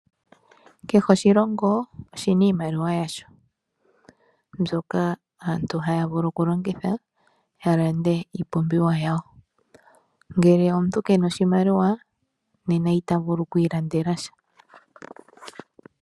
Kehe oshilongo oshina iimaliwa yasho mbyoka aantu haa vulu okulongitha, ya lande iipumbiwa yawo. Ngele omuntu kena oshimaliwa, nena ita vulu okwiilandela sha.